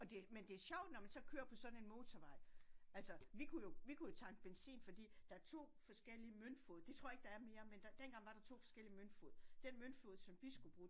Og det men det er sjovt når man så kører på sådan en motorvej altså vi kunne jo vi kunne jo tanke benzin fordi der er 2 forskellige møntfod det tror jeg ikke der er mere men der dengang var der 2 forskellige møntfod som vi skulle bruge